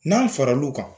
N'a fara l'u kan